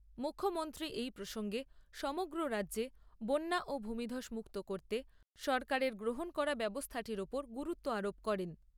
মুখ্যমন্ত্রী এই প্রসঙ্গে সমগ্র রাজ্যকে বন্যা ও ভূমিধস মুক্ত করতে সরকারের গ্রহণ করা ব্যবস্থাটির ওপর গুরুত্ব আরোপ করেন।